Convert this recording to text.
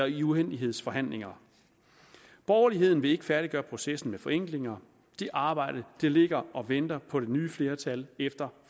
i uendelighedsforhandlinger borgerligheden vil ikke færdiggøre processen med forenklinger det arbejde ligger og venter på det nye flertal efter